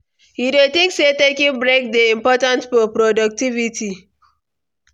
you dey think say taking break dey important for productivity?